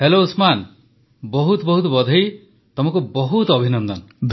hello Usman ବହୁତ ବହୁତ ଅଭିନନ୍ଦନ ତମକୁ ବହୁତ ଅଭିନନ୍ଦନ